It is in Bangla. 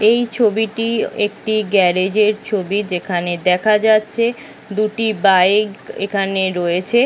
এই ছবিটি একটি গ্যারেজের ছবি যেখানে দেখা যাচ্ছে দুটি বাইক এখানে রয়েছে।